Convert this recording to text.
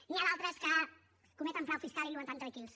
n’hi ha d’altres que cometen frau fiscal i viuen tan tranquils